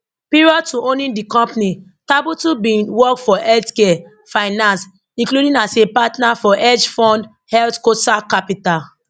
prior to owning di company tabuteau bin work for healthcare finance including as a partner for hedge fund healthcosac capital